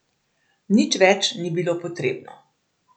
Nič več ni bilo potrebno.